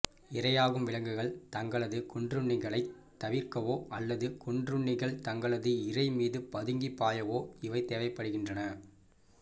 இரையாகும் விலங்குகள் தங்களது கொன்றுண்ணிகளைத் தவிர்க்கவோ அல்லது கொன்றுண்ணிகள் தங்களது இரை மீது பதுங்கிப் பாயவோ இவை தேவைப்படுகின்றன